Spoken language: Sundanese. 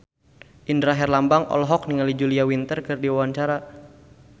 Indra Herlambang olohok ningali Julia Winter keur diwawancara